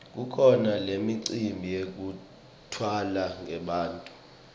kukhona nemicimbi yekutalwa kwebantfu